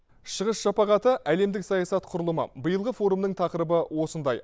шығыс шапағаты әлемдік саясат құрылымы биылғы форумның тақырыбы осындай